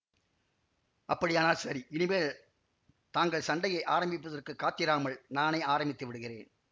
அப்படியானால் சரி இனிமேல் தாங்கள் சண்டையை ஆரம்பிப்பதற்குக் காத்திராமல் நானே ஆரம்பித்துவிடுகிறேன்